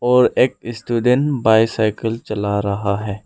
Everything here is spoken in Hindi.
और एक स्टूडेंट बायसायकल चला रहा है।